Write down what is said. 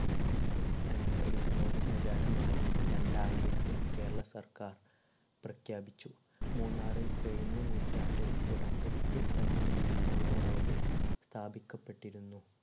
ആഹ് ഒരു വിനോദസഞ്ചാരമായി രണ്ടായിരത്തിൽ കേരള സർക്കാർ പ്രഖ്യാപിച്ചു. മൂന്നാറിൽ കഴിഞ്ഞ നൂറ്റാണ്ടിൽ തുടക്കത്തിൽ തന്നെ മോണോ റോയിൽ സ്ഥാപിക്കപ്പെട്ടിരുന്നു.